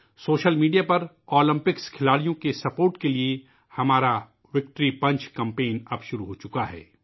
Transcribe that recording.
social media پر Olympics کھلاڑیوں کی حمایت کے لئے ہمارا وِکٹری پنچ کمپین اب شروع ہو چکا ہے